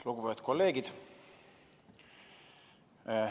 Lugupeetud kolleegid!